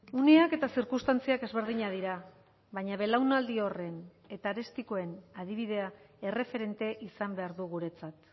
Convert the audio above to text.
uneak eta zirkunstantziak ezberdinak dira baina belaunaldi horren eta arestikoen adibidea erreferente izan behar du guretzat